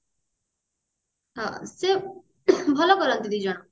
ହଁ ସେ ଭଲ କରନ୍ତି ଦି ଜଣ